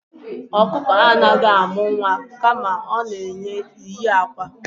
Ọkụkọ anaghị amụ nwa kama ọ na na-eyi akwa.